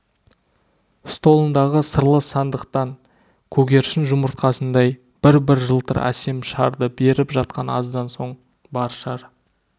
столындағы сырлы сандықтан көгершін жұмыртқасындай бір-бір жылтыр әсем шарды беріп жатқан аздан соң бар шар